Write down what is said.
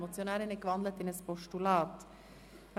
Die Motionärin hat diesen in ein Postulat gewandelt.